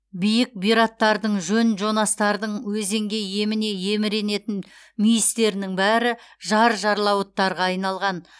биік бұйраттардың жон жонастардың өзенге еміне еміренетін мүйістерінің бәрі жар жарлауыттарға айналған